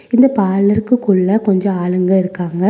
இந்த பாலருக்கு குள்ள கொஞ்ச ஆளுங்க இருக்காங்க.